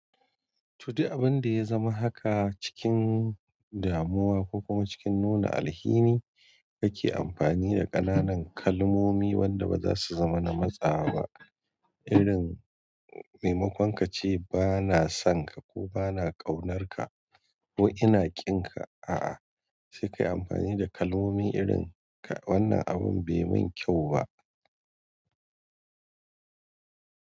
To duk abinda yazama haka cikin damuwa ko kuma cikin nuna alhini kake amfani a ƙananan kalmomi wanda baza su zama na matsawa ba irin maimakon kace bana sonka ko bana ƙaunarka ko ina ƙinka a'a sai kayi amfani da kalmomi irin wannan abun be min ƙyau ba.